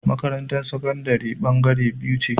Makarantar sakandari bangare biyu ce